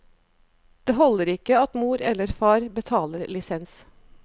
Det holder ikke at mor eller far betaler lisens.